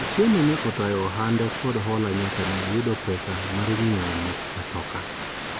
Otieno ne otayo ohande kod hola nyaka ne oyudo pesa mar nyiewo matoka